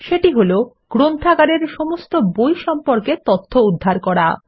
সেটি হল160 গ্রন্থাগারের সমস্ত বই সম্পর্কে তথ্য উদ্ধার করা